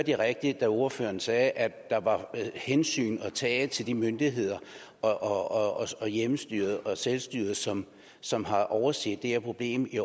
jeg rigtigt da ordføreren sagde at der var hensyn at tage til de myndigheder og hjemmestyret og selvstyret som som har overset det her problem i